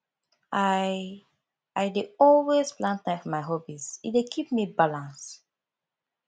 i i dey always plan time for my hobbies e dey keep me balance